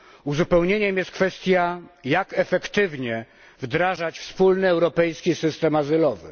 Uzupełnieniem jest kwestia jak efektywnie wdrażać wspólny europejski system azylowy?